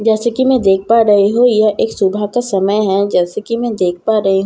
जैसे कि मैं देख पा रही हूं यह एक सुबह का समय है जैसे कि मैं देख पा रही--